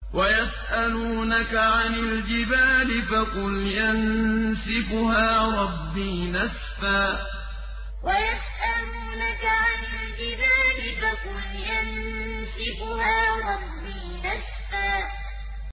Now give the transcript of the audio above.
وَيَسْأَلُونَكَ عَنِ الْجِبَالِ فَقُلْ يَنسِفُهَا رَبِّي نَسْفًا وَيَسْأَلُونَكَ عَنِ الْجِبَالِ فَقُلْ يَنسِفُهَا رَبِّي نَسْفًا